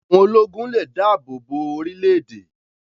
Àwọn ológun lè dáàbò bo orílẹ̀-èdè